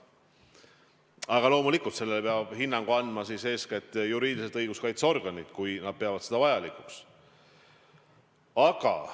Aga loomulikult, sellele peavad hinnangu andma eeskätt juriidiliselt õiguskaitseorganid, kui nad peavad seda vajalikuks.